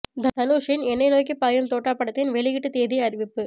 தனுஷின் எனை நோக்கி பாயும் தோட்டா படத்தின் வெளியீட்டு திகதி அறிவிப்பு